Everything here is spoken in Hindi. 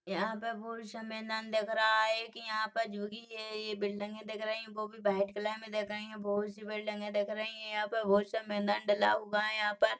यहाँ पे बहुत सा मैदान दिख रहा है एक यहाँ पर जोगी है ये बिल्डिंगे दिख रही वो भी वाइट कलर में दिख रही है बहोत सी बिल्डिंगे दिख रही है यहाँ पर बहोत सा मैदान डला हुआ है यहाँ पर --